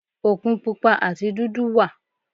Òkun Pupa àti dúdú wà.